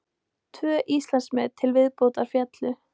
Tvö Íslandsmet til viðbótar féllu